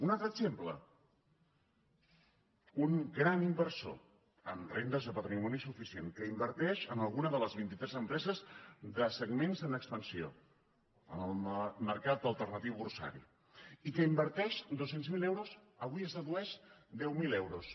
un altre exemple un gran inversor amb rendes de patrimoni suficients que inverteix en alguna de les vinti tres empreses de segments en expansió en el mercat alternatiu borsari i qui inverteix vint miler euros avui es dedueix deu mil euros